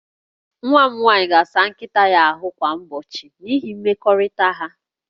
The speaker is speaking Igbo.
Nwa m nwaanyị ga-asa nkịta ya ahụ kwa ụbọchị n'ihi mmekọrịta ha